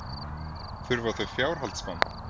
Þurfa þau fjárhaldsmann?